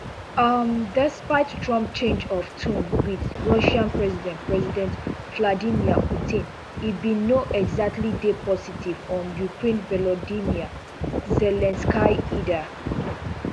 um despite trump change of tone with russian president president vladimir putin e bin no exactly dey positive on ukraine volodymyr zelensky either